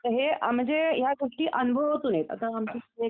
तर हे म्हणजे या गोष्टी अनुभवातून येतात